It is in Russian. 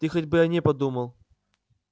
ты хоть бы о ней подумал